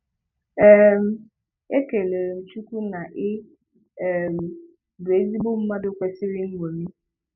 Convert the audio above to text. um E kelere m Chukwu na ị um bụ ezigbo mmadụ kwesịrị nñomi